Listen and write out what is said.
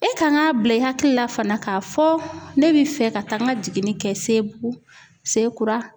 E kan k'a bila i hakili la fana k'a fɔ ne bɛ fɛ ka taa n ka jiginni kɛ Sebugu, sekura